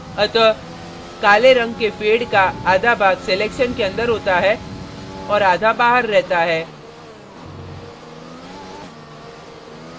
अतः काले रंग के fades का आधा भाग selection के अंदर होता है और आधा बाहर रहता है